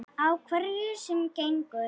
Á hverju sem gengur.